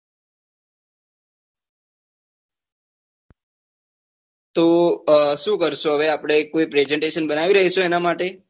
તો શું કારસો આપડે કોઈ એક prasantation બનાવી દઈશું એના માટે?